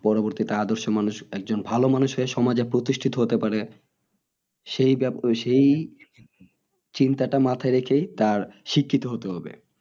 পরবর্তীতে আদর্শ মানুষ একজন ভালো মানুষ সমাজে প্রতিষ্ঠিত হতে পারে সেই সেই চিন্তা টা মাথাই রেখে তার শিক্ষিত হতে হবে